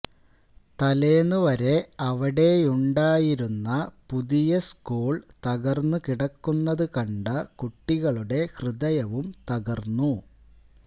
തലേന്നു വരെ അവിടെയുണ്ടായിരുന്ന പുതിയ സ്കൂള് തകര്ന്നുകിടക്കുന്നത് കണ്ട കുട്ടികളുടെ ഹൃദയവും തകര്ന്നു